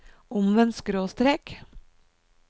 omvendt skråstrek